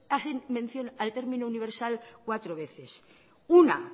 hacen mención al término universal cuatro veces una